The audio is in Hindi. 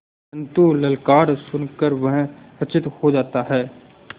परन्तु ललकार सुन कर वह सचेत हो जाता है